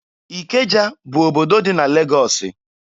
Ikeja bụ obodo dị na Legọọsị.